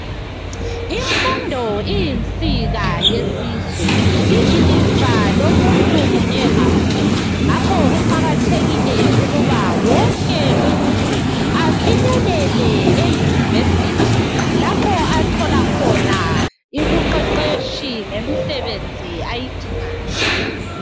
Imfundo iyinsika yesizwe, ililifa lomuntu munye ngamunye . Ngakho kuqakathekile ukuba wonke umuntu afinyelele eyunivesithi lapho athola khona ibuqeqetshi ngemisebenzi ayidingayo.